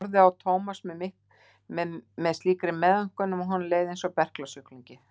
Hún horfði á Thomas með slíkri meðaumkun að honum leið einsog berklasjúklingi.